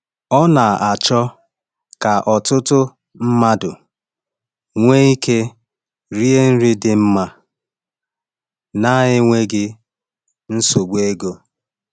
Ọ na-achọ ka ọtụtụ mmadụ nwee ike iri nri dị mma na-enweghị nsogbu ego.